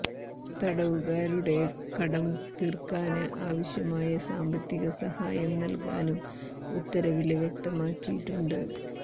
തടവുകാരുടെ കടം തീര്ക്കാന് ആവശ്യമായ സാമ്പത്തിക സഹായം നല്കാനും ഉത്തരവില് വ്യക്തമാക്കിയിട്ടുണ്ട്